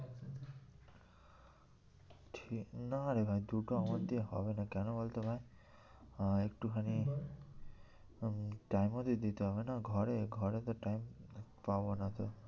ঠিক না রে ভাই দুটো আমার দিয়ে হবে না কেন বলতো ভাই আহ একটুখানি উম time ও তো দিতে হবে না ঘরে, ঘরে তো time পাবো না তো।